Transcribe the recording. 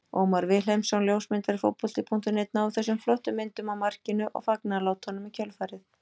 Ómar Vilhelmsson ljósmyndari Fótbolta.net náði þessum flottu myndum af markinu og fagnaðarlátunum í kjölfarið.